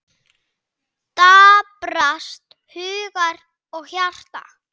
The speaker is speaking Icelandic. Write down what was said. Daprast hugur og hjarta.